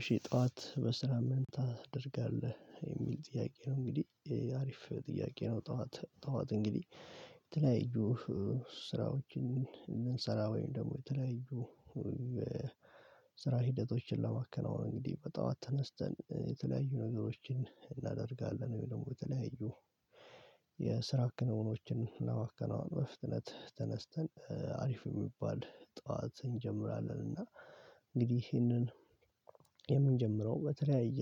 እሺ ጠዋት በስራ ምን ታደርጋለህ? የሚል ጥያቄ ነው እንግዲህ አሪፍ ጥያቄ ነው ጠዋት ጠዋት እንግዲህ የተለያዩ ስራዎችን እንሰራ ወይም ደግሞ የተለያዩ ስራ ሂደቶችን ለማከናወን እንግዲህ በጠዋት ተነስተን የተለያዩ ነገሮችን እናደርጋለን ወይ ደግሞ በተለያዩ የስራ ክንውኖችን እና ማከናወኑን በፍጥነት ተነስተን አሪፍ የሚባል ጠዋት እንጀምራለን እና እንግዲህ ይህንን የምንጀምረው በተለያየ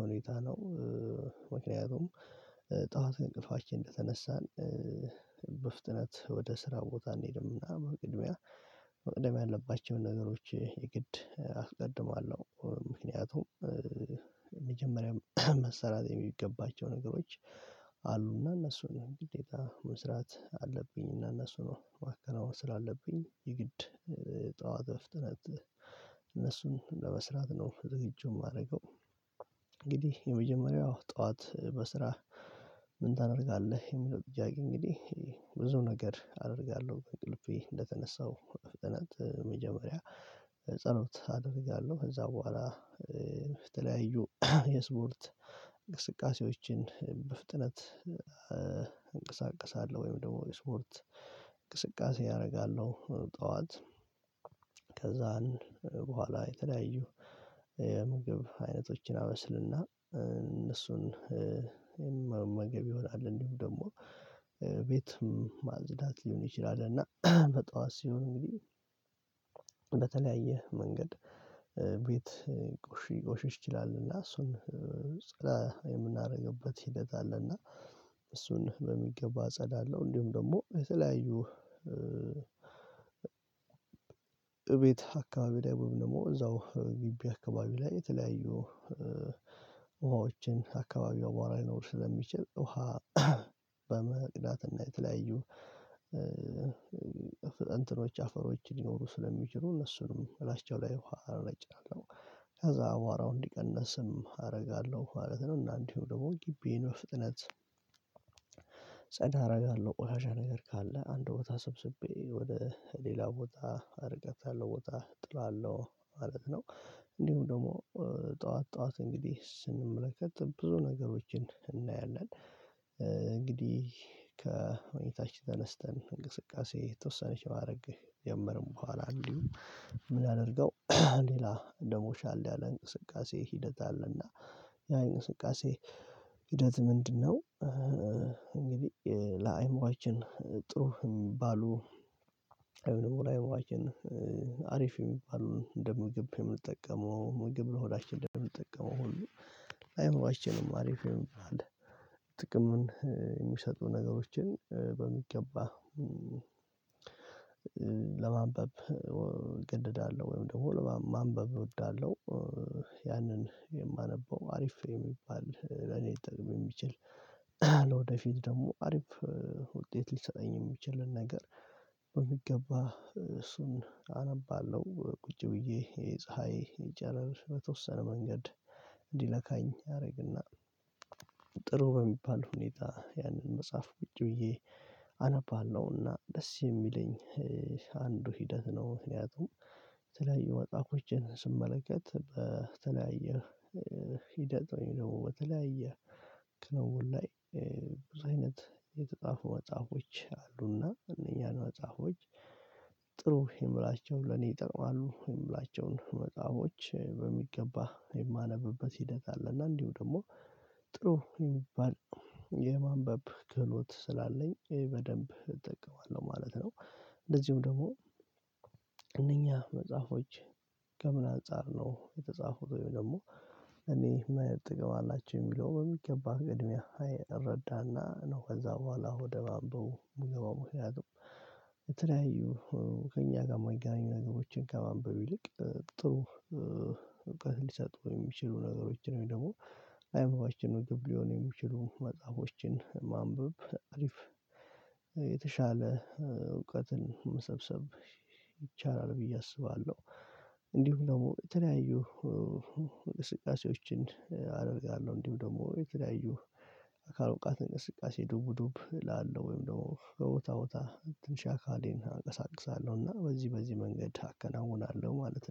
ሁኔታ ነው ምክንያቱም ጠዋት እንቅልፋችን እንደተነሳን በፍጥነት ወደ ስራ ቦታ አንሄድም እና በቅድሚያ መቅደም ያለባቸውን ነገሮች የግድ አስቀድማለሁ ምክንያቱም መሰራት የሚገባቸው ነገሮች አሉና እነሱን ግዴታ መስራት አለብኝ እና እነሱ ነው ማከናወን ስላለብኝ የግድ ጠዋት በፍጥነት እነሱን ለመስራት ነው ዝግጁ የማደርገው እንግዲህ የመጀመሪያው ጠዋት በስራ ምን ታደርጋለህ? የሚለው ጥያቄ እንግዲህ ብዙ ነገር አደርጋለሁ ከእንቅልፌ እንደተነሳው ፍጥነት መጀመሪያ ጸሎት አደርጋለሁ ከዛ በኋላ በተለያዩ የስፖርት እንቅስቃሴዎችን በፍጥነት እንቀሳቀሳለሁ ወይም ደግሞ ስፖርት እንቅስቃሴ አደርጋለሁ ጠዋት ከዛን በኋላ የተለያዩ የምግብ አይነቶችን አበስልና እነሱን መመገብ ይሆናል እንዲሁ ደግሞ ቤት ማጽዳት ሊሆን ይችላል እና በጠዋት ሲሆን እንግዲህ በተለያየ መንገድ ቤት ልቆሽ ልቆሺሽ ይችላል እና እሱን ጸዳ የምናደርግበት ሂደት አለና እሱን በሚገባ ጸዳለሁ አለው እንዲሁም ደግሞ የተለያዩ እቤት አከባቢ ላይ ወይም ደግሞ እዛው ግቢ አከባቢ ላይ የተለያዩ ውሃዎችን አከባቢው አቧራ ሊኖር ስለሚችል ውሃ በመቅዳትና የተለያዩ እንትኖች አፈሮች ልኖሩ ስለሚችሉ እነሱንም ላስጫው ላይ ውሃ አረጫለሁ ከዛ አቧራው እንዲቀነስም አደርጋለሁ ማለት ነው እና እንዲሁ ደግሞ ግቢዬን በፍጥነት ጸዳ አደርጋለሁ ቆሻሻ ነገር ካለ አንድ ቦታ ሰብስቤ ወደ ሌላ ቦታ ርቀት ያለው ቦታ ጥለዋለሁ ማለት ነው እንዲሁም ደግሞ ጠዋት ጠዋት እንግዲህ ስንመለከት ብዙ ነገሮችን እናያለን እንግዲህ ከሁኔታችን ተነስተን እንቅስቃሴ የተወሰነች ማድረግ ጀምረን በኋላ እንዲሁ ምን ያድርገው ሌላ ደሞ ሻል ያለ እንቅስቃሴ ሂደት አለና ያን እንቅስንቃሴ ሂደት ምንድነው እንግዲህ ለአይምሮአችን ጥሩ የሚባሉ አእምሮ ላይ መዋችን አሪፍ የሚባሉ እንደ ምግብ የምንጠቀመው ምግብ ለሆዳችን እንደምንጠቀመው ሁሉ አእምሮአችን አሪፍ የምንለው ጥቅምን የሚሰጡ ነገሮችን በሚገባ ለማንበብ እገደዳለሁ ወይም ደግሞ ለማንበብ እወዳለሁ ያንን የማነበው አሪፍ የሚባል ለኔ ልጠቅመኝ የሚችል ለወደፊት ደግሞ አሪፍ ውጤት ሊሰጠኝ የሚችልን ነገር በሚገባ እሱን አነባለሁ ቁጭ ብዬ የፀሀይ ጨረር በተወሰነ መንገድ እንዲነካኝ ያደርግና ጥሩ በሚባል ሁኔታ ያንን መጽሐፍ ቁጪ ብዬ አነባለሁና ደስ የሚለኝ አንዱ ሂደት ነው ምክንያቱም የተለያዩ ወጣቶችን ስመለከት በተለያየ ሂደት ደግሞ በተለያየ ክለቡ ላይ ብዙ አይነት የተጻፉ መጽሐፎች አሉና እነኝሀን መጽሐፎች ጥሩ የምላቸውን ለኔ ይጠቅማሉ የምላቸውን መጽሐፎች በሚገባ የማነብበት ሂደት አለ እና እንዲሁ ደግሞ ጥሩ የሚባል የማንበብ ክህሎት ስላለኝ ይሄ በደንብ እጠቀማለሁ ማለት ነው እንደዚሁም ደግሞ መጽሐፎች ከምን አንፃር ነው የተጻፉት ወይም ደግሞ እኔ ምን አይነት ጥቅም አላቸው የሚለው በሚገባ ቅድምያ እረዳና ነው ከዛ በኋላ ወደ ማንበቡ የሚገባው ምክንያቱም ለተለያዩ ከእኛ ጋር የማይገናኙ ነገሮችን ከማንበብ ይልቅ ጥሩ እውቀት ሊሰጡ የሚችሉ ነገሮችን ነው ደግሞ አእምሮአችንን ልመግብ ሊሆን የሚችሉ መጽሐፎችን ማንበብ አሪፍ የተሻለ እውቀትን መሰብሰብ ይቻላል ብዬ አስባለሁ እንዲሁ ደግሞ የተለያዩ እንቅስቃሴዎችን አደርጋለሁ እንዲሁ ደግሞ የተለያዩ አካል ብቃት እንቅስቃሴ ዱብ ዱብ ላለው ወይም ደግሞ በቦታ ቦታ ትንሽ አካሌን አንቀሳቅሳለሁ እና በዚህ በዚህ መንገድ አከናውናለሁ ማለት ነው